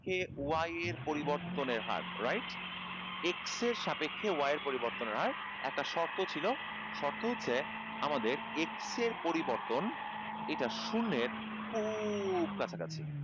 কে y এর পরিবর্তনের হার, right x এর সাপেক্ষে y এর পরিবর্তনের হার একটা শর্ত ছিল শর্ত হচ্ছে আমাদের x এর পরিবর্তন এটা শুন্যের খুব কাছাকাছি